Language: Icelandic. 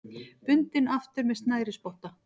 Bundinn aftur með snærisspotta.